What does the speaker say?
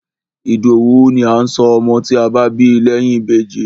Ìdòwú ni à ń sọ ọmọ tí a bá bí lẹ́yìn Ìbejì.